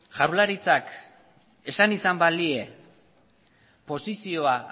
jaurlaritzak esan izan balie posizioa